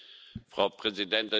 Frau Präsidentin!